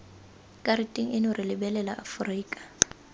karateng eno re lebelela aforika